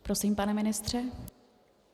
Prosím, pane ministře.